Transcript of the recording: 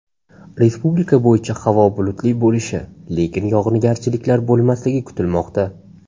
Respublika bo‘yicha havo bulutli bo‘lishi, lekin yog‘ingarchiliklar bo‘lmasligi kutilmoqda.